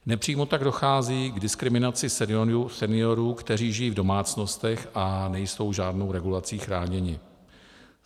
Nepřímo tak dochází k diskriminaci seniorů, kteří žijí v domácnostech a nejsou žádnou regulací chráněni.